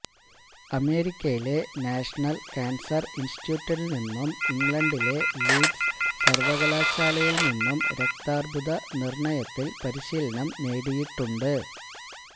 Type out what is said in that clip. അമേരിക്കയിലെ national cancer ഇന്സ്റ്റിറ്റ്യൂട്ടില്നിന്നും ഇംഗ്ലണ്ടിലെ ലീഡ്സ് സര്വകലാശാലയില്നിന്നും രക്താര്ബുദ നിര്ണയത്തില് പരിശീലനം നേടിയിട്ടുണ്ട്